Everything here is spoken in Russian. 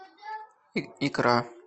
икра